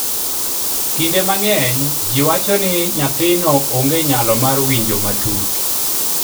kinde mang'eny ji wacho ni nyathino onge nyalo mar winjo matut